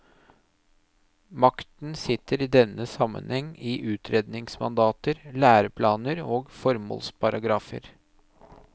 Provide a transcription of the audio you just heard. Makten sitter i denne sammenheng i utredningsmandater, læreplaner og formålsparagrafer.